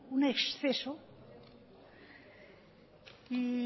un exceso y